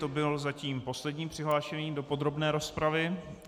To byl zatím poslední přihlášený do podrobné rozpravy.